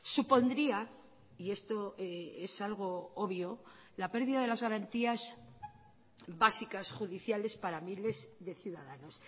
supondría y esto es algo obvio la pérdida de las garantías básicas judiciales para miles de ciudadanos